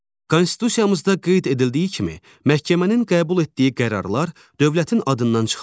Konstitusiyamızda qeyd edildiyi kimi, məhkəmənin qəbul etdiyi qərarlar dövlətin adından çıxarılır